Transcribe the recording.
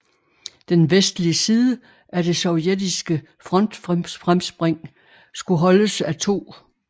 Den vestlige side af det sovjetiske frontfremspring skulle holdes af 2